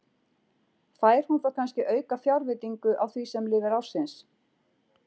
Fær hún þá kannske aukafjárveitingu á því sem lifir ársins?